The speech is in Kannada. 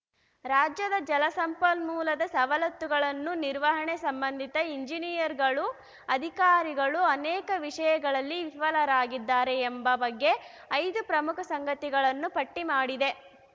ರಾಜ್ಯದ ಜಲ ಸಂಪನ್ಮೂಲದ ಸವಲತ್ತುಗಳನ್ನು ನಿರ್ವಹಣೆ ಸಂಬಂಧಿತ ಇಂಜಿನಿಯರ್‌ಗಳು ಅಧಿಕಾರಿಗಳು ಅನೇಕ ವಿಷಯಗಳಲ್ಲಿ ವಿಫಲರಾಗಿದ್ದಾರೆ ಎಂಬ ಬಗ್ಗೆ ಐದು ಪ್ರಮುಖ ಸಂಗತಿಗಳನ್ನು ಪಟ್ಟಿಮಾಡಿದೆ